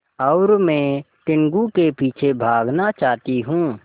और मैं टीनगु के पीछे भागना चाहती हूँ